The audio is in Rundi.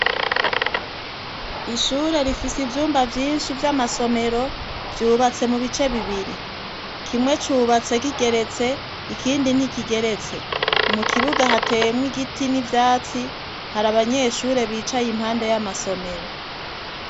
Ishure rifise ivyumba vyinshi vy'amasomero vyubatse mu bice bibiri kimwe cubatse kigeretse ikindi ntikigeretse mu kibuga hatemwa igiti n'ivyatsi hari abanyeshure bicaye impande y'amasomero.